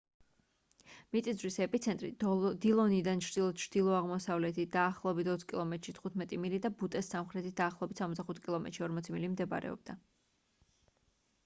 მიწისძვრის ეპიცენტრი დილონიდან ჩრდილო-ჩრდილო-აღმოსავლეთით დაახლოებით 20 კილომეტრში 15 მილი და ბუტეს სამხრეთით დაახლოებით 65 კილომეტრში 40 მილი მდებარეობდა